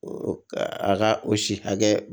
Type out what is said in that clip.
A ka o si hakɛ